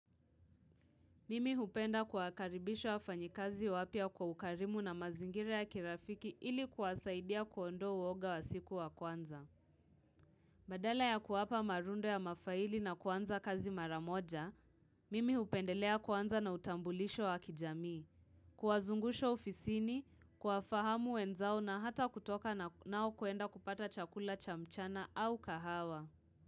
Mimi hupenda kuakaribisho wa fanyikazi wapya kwa ukarimu na mazingira ya kirafiki ili kuwasaidia kuondo uoga wa siku wa kwanza. Badala ya kuwapa marundo ya mafaili na kwanza kazi maramoja, mimi hupendelea kwanza na utambulisho wa kijamii. Kuwazungusha ufisini, kuwafahamu wenzao na hata kutoka nao kuenda kupata chakula chamchana au kahawa.